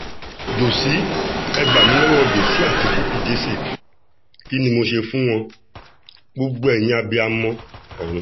jòsí ẹ̀ gbà mí lọ́wọ́ jòsí àti bukky jesse kí ni mo ṣe fún wọn gbogbo ẹ̀yin abiyamọ ọ̀run